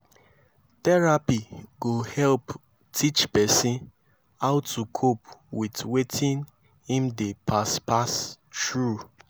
therapy go help teach pesin how to cope with wetin im dey pass pass thru